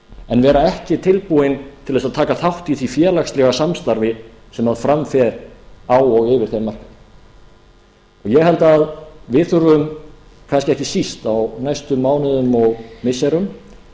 en vera ekki tilbúinn til þess að taka þátt í því félagslega samstarfi sem fram fer á og yfir þeim markaði ég held að við þurfum kannski ekki síst á næstu mánuðum og missirum